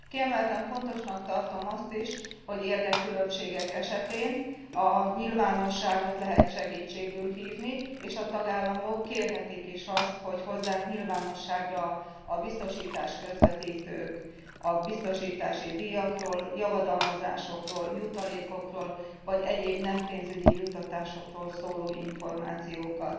Kiemelten fontosnak tartom azt is, hogy érdekkülönbségek esetén a nyilvánosságot lehet segítségül hívni, és a tagállamok kérhetik is azt, hogy hozzák nyilvánosságra a biztosítás közvetítők a biztosítási díjakról, javadalmazásokról, jutalékokról vagy egyéb nem pénzügyi juttatásokról szóló információkat.